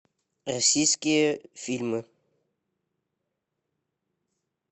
российские фильмы